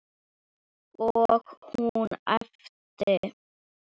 Og hún æpti.